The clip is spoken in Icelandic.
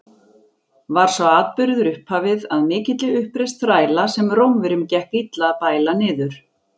Var sá atburður upphafið að mikilli uppreisn þræla, sem Rómverjum gekk illa að bæla niður.